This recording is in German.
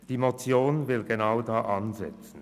Genau da will die Motion ansetzen.